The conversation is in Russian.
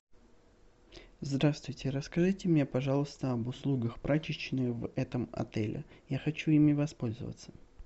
здравствуйте расскажите мне пожалуйста об услугах прачечной в этом отеле я хочу ими воспользоваться